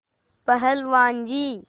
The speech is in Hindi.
पहलवान जी